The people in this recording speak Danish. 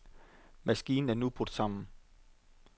Maskinen er nu brudt sammen.